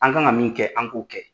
An kan ka min kɛ, an k'o kɛ.